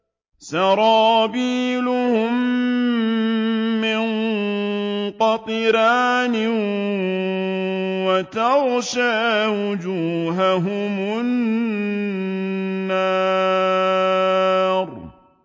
سَرَابِيلُهُم مِّن قَطِرَانٍ وَتَغْشَىٰ وُجُوهَهُمُ النَّارُ